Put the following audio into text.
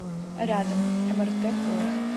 рядом мрт поиск